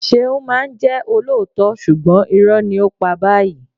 ṣeún ma ń jẹ ọlọto súgbon irò ni o pá bayii